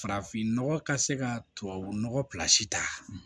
Farafin nɔgɔ ka se ka tubabu nɔgɔ ta